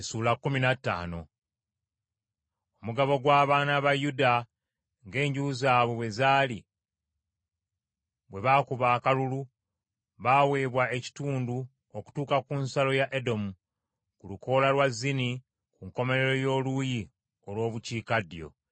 Omugabo gw’abaana ba Yuda ng’enju zaabwe bwe zaali bwe baakuba akalulu, baaweebwa ekitundu okutuuka ku nsalo ya Edomu, ku lukoola lwa Zini, ku nkomerero y’oluuyi olw’obukiikaddyo.